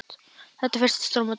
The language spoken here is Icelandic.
Þetta er fyrsta stórmót okkar.